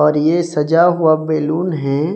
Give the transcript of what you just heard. और ये सजा हुआ बैलून है।